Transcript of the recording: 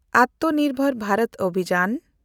ᱟᱛᱢᱚᱱᱤᱨᱵᱷᱚᱨ ᱵᱷᱟᱨᱚᱛ ᱚᱵᱷᱤᱡᱟᱱ